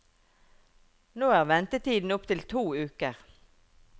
Nå er ventetiden opp til to uker.